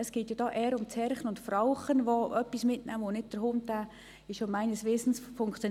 Es geht ja hier eher um das Herrchen und Frauchen, das etwas mitnehmen kann, und nicht um den Hund.